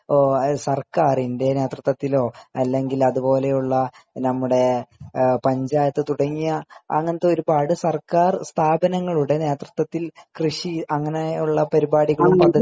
സർക്കാരിന്റെ നേതൃത്തത്തിലോ അല്ലെങ്കിൽ അത് പോലെയുള്ള നമ്മുടെ പഞ്ചായത്ത് തുടങ്ങിയ അങ്ങനെത്തെ ഒരുപാട് സർക്കാർ നേതൃത്തത്തിൽ കൃഷി അങ്ങനെയുള്ള പദ്ധതികൾ